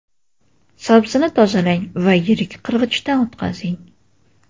Sabzini tozalang va yirik qirg‘ichdan o‘tkazing.